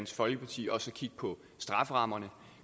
folkeparti også at kigge på strafferammerne